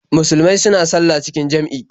Musulmai suna sallah cikin jam'i.